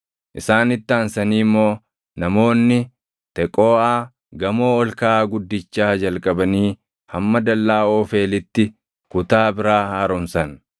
Isaanitti aansanii immoo namoonni Teqooʼaa gamoo ol kaʼaa guddichaa jalqabanii hamma dallaa Oofeelitti kutaa biraa haaromsan.